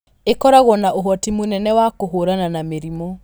ĩkoragwo na ũhoti mũnene wa kũhũrana na mĩrimũ